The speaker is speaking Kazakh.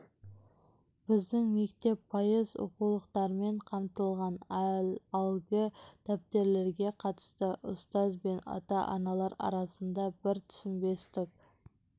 біздің мектеп пайыз оқулықтармен қамтылған ал әлгі дәптерлерге қатысты ұстаз бен ата-аналар арасында бір түсінбестік